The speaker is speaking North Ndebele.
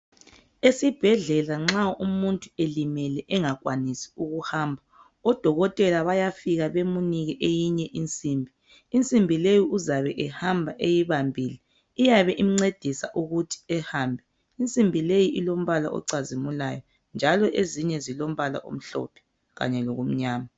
Esibhedlela nxa umuntu elimele engakwanisi ukuhamba odokotela bayafika bemnike eyinye insimbi, insimbi le uzabehamba eyibambile iyabe imncedisa ukuthi ehambe. Insimbi le ilombala ocazimulayo njalo ezinye zilombala omhlophe kanye lomnyama.